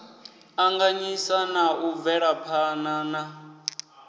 anganyisa na u bvelaphana na